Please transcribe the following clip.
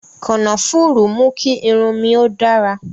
Kànáfùrú mú kí irun mi ó dára